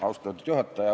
Austatud juhataja!